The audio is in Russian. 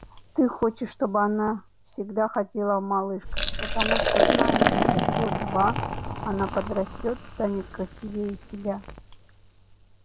ты хочешь чтобы она всегда ходила в малышках потому что знаешь через год-два она как подрастёт станет красивее тебя